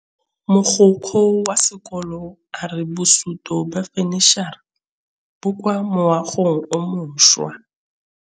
Mogokgo wa sekolo a re bosutô ba fanitšhara bo kwa moagong o mošwa.